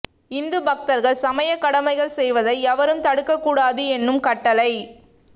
இந்து பக்தர்கள் சமய கடமைகள் செய்வதை எவரும் தடுக்க கூடாது என்னும் கட்டளை